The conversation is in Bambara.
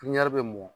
bɛ mɔ